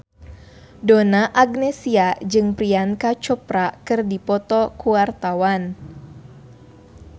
Donna Agnesia jeung Priyanka Chopra keur dipoto ku wartawan